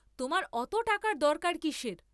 তোমার অত টাকার দরকার কিসের?